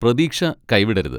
പ്രതീക്ഷ കൈവിടരുത്.